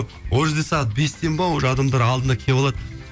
ол жерде сағат бестен бе уже адамдар алдына келіп алады